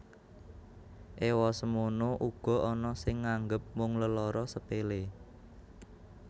Ewa semono uga ana sing nganggep mung lelara sepele